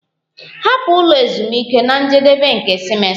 Hapụ ụlọ ezumike na njedebe nke simesta!